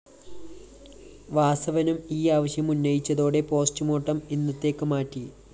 വാസവനും ഈ ആവശ്യം ഉന്നയിച്ചതോടെ പോസ്റ്റ്‌മോര്‍ട്ടം ഇന്നത്തേക്ക് മാറ്റി